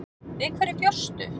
Við hverju bjóstu?